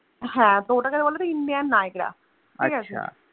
হ্যাঁ তো ওটাকে বলে তোর Indian Niagra ঠিকাছে।